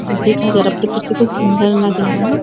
दिख्या जरा प्रकृति कु सुन्दर नजारा न।